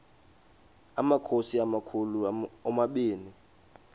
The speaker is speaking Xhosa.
amakhosi amakhulu omabini